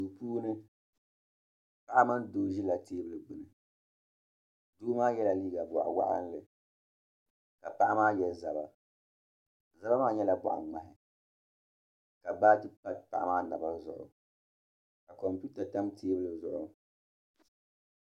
Duu puuni paɣa mini doo ʒila teebuli gbini doo maa yela liiga boɣa waɣala ka paɣa maa ye zabba zabba maa nyɛla boɣaŋmahi ka laati pa paɣa maa naba zuɣu ka kompita tam teebuli maa zuɣu.